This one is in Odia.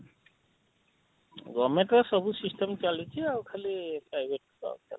govement ର ସବୁ system ଚାଲୁଛି ଆଉ ଖାଲି private ବସ